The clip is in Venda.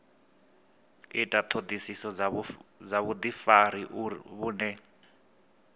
ita ṱhoḓisiso dza vhuḓifari vhune